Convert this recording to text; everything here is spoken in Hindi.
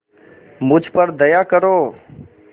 मुझ पर दया करो